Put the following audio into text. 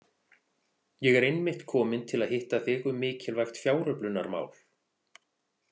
Ég er einmitt kominn til að hitta þig um mikilvægt fjáröflunarmál.